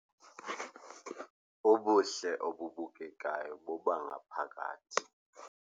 Ubuhle obubukekayo bobangaphakathi.